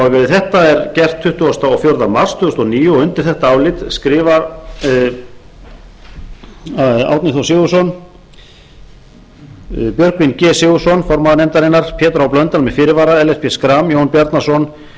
þetta er gert tuttugasta og fjórða mars tvö þúsund og níu og undir þetta álit skrifa árni þór sigurðsson björgvin g sigurðsson formaður pétur h blöndal með fyrirvara ellert b schram jón bjarnason